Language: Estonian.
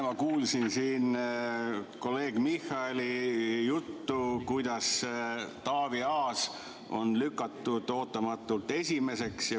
Ma kuulasin kolleeg Michali juttu sellest, kuidas Taavi Aas on lükatud ootamatult esimeseks.